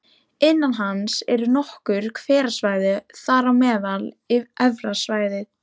Innan hans eru nokkur hverasvæði, þar á meðal Efra svæðið